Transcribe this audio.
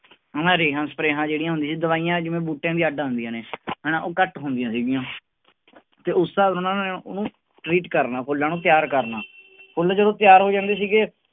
ਆਹ ਰੇਹਾਂ ਸਪਰੇਆਂ ਜਿਹੜੀਆਂ ਹੁੰਦੀਆਂ ਦਵਾਈਆਂ ਜਿਵੇਂ ਬੂਟਿਆਂ ਦੀਆਂ ਅੱਢ ਆਉਂਦੀਆਂ ਨੇ ਹਨਾ ਉਹ ਘੱਟ ਹੁੰਦੀਆਂ ਸੀਗੀਆਂ ਤੇ ਉਸ ਉਹਨੂੰ treat ਕਰਨਾ ਫੁੱਲਾਂ ਨੂੰ ਤਿਆਰ ਕਰਨਾ ਫੁੱਲ ਜਦੋਂ ਤਿਆਰ ਹੋ ਜਾਂਦੇ ਸੀਗੇ,